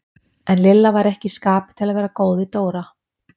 En Lilla var ekki í skapi til að vera góð við Dóra.